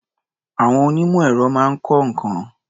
Àwọn onímọ̀-èrọ máa ń kọ́ nǹkan.